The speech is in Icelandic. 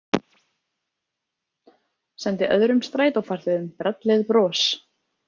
Sendi öðrum strætófarþegum brellið bros.